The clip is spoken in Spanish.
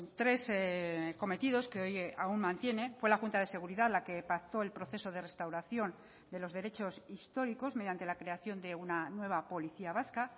tres cometidos que hoy aún mantiene fue la junta de seguridad la que pactó el proceso de restauración de los derechos históricos mediante la creación de una nueva policía vasca